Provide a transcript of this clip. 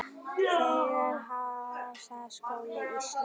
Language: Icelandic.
Þegar Háskóli Íslands